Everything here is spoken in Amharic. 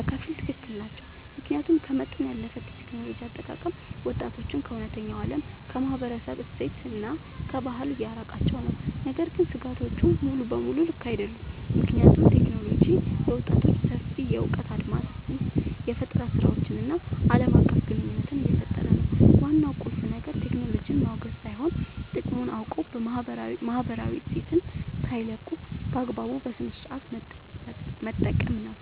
በከፊል ትክክል ናቸው። ምክንያቱም ከመጠን ያለፈ የቴክኖሎጂ አጠቃቀም ወጣቶችን ከእውነተኛው ዓለም፣ ከማህበረሰብ እሴትና ከባህል እያራቃቸው ነው። ነገር ግን ስጋቶቹ ሙሉ በሙሉ ልክ አይደሉም፤ ምክንያቱም ቴክኖሎጂ ለወጣቶች ሰፊ የእውቀት አድማስን፣ የፈጠራ ስራዎችን እና ዓለም አቀፍ ግንኙነት እየፈጠረ ነው። ዋናው ቁልፍ ነገር ቴክኖሎጂን ማውገዝ ሳይሆን፣ ጥቅሙን አውቆ ማህበራዊ እሴትን ሳይለቁ በአግባቡ እና በስነሥርዓት መጠቀም ነው።